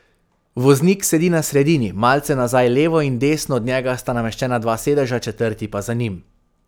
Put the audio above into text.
Voznik sedi na sredini, malce nazaj levo in desno od njega sta nameščena dva sedeža, četrti pa za njim.